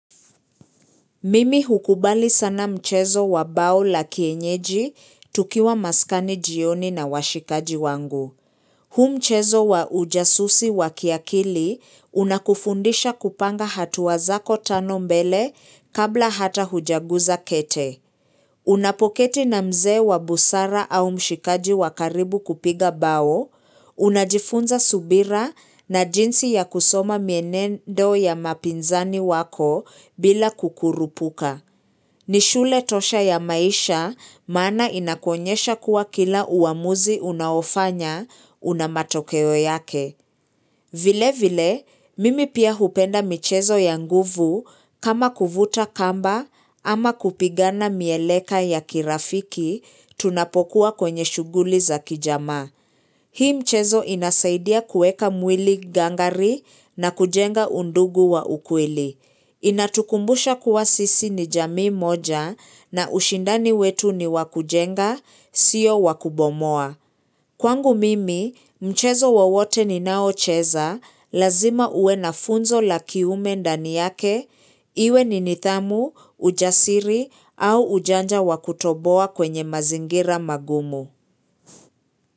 Mimi hukubali sana mchezo wa bao la kienyeji tukiwa maskani jioni na washikaji wangu. Huu mchezo wa ujasusi wa kiakili unakufundisha kupanga hatua zako tano mbele kabla hata hujaguza kete. Unapoketi na mzee wa busara au mshikaji wa karibu kupiga bao, unajifunza subira na jinsi ya kusoma mienendo ya mapinzani wako bila kukurupuka. Ni shule tosha ya maisha maana inakuonyesha kuwa kila uamuzi unaofanya una matokeo yake. Vile vile, mimi pia hupenda michezo ya nguvu kama kuvuta kamba ama kupigana mieleka ya kirafiki tunapokuwa kwenye shughuli za kijamaa. Hii mchezo inasaidia kueka mwili gangari na kujenga undugu wa ukweli. Inatukumbusha kuwa sisi ni jamii moja na ushindani wetu ni wakujenga, sio wakubomoa. Kwangu mimi, mchezo wowote ni nao cheza, lazima uwe na funzo la kiume ndani yake, iwe ni nidhamu, ujasiri au ujanja wakutoboa kwenye mazingira magumu.